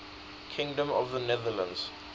kingdom of the netherlands